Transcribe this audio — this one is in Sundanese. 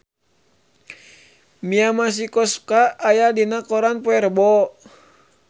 Mia Masikowska aya dina koran poe Rebo